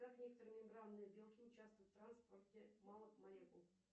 как некоторые мембранные белки учавствуют в транспорте малых молекул